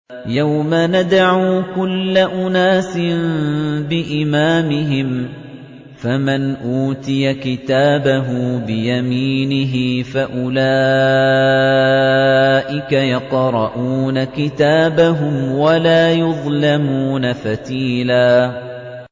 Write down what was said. يَوْمَ نَدْعُو كُلَّ أُنَاسٍ بِإِمَامِهِمْ ۖ فَمَنْ أُوتِيَ كِتَابَهُ بِيَمِينِهِ فَأُولَٰئِكَ يَقْرَءُونَ كِتَابَهُمْ وَلَا يُظْلَمُونَ فَتِيلًا